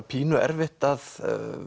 pínu erfitt að